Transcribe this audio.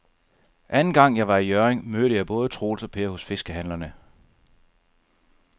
Anden gang jeg var i Hjørring, mødte jeg både Troels og Per hos fiskehandlerne.